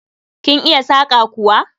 Kin iya saƙa kuwa?